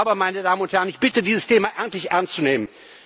Aber, meine Damen und Herrn, ich bitte dieses Thema endlich ernst zu nehmen.